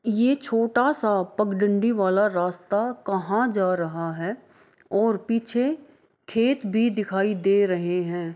ये छोटा-सा पगडंडी वाला रास्ता कहाँ जा रहा है और पीछे खेत भी दिखाई दे रहे हैं ।